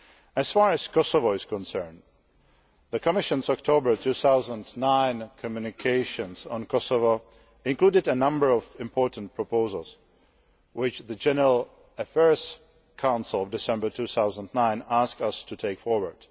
As far as Kosovo is concerned, the Commission's October 2009 communications on Kosovo included a number of important proposals which the General Affairs Council, December 2009, asked us to take forward.